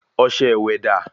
Ọsẹ wa dà?